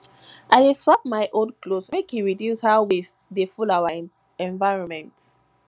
i dey swap my old clothes make e reduce how waste dey full our environment